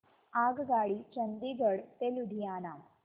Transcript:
आगगाडी चंदिगड ते लुधियाना